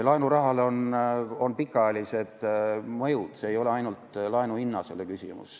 Laenurahal on pikaajalised mõjud, küsimus ei ole ainult laenu hinnas.